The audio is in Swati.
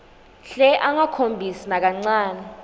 hle angakhombisi nakancane